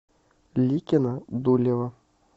ликино дулево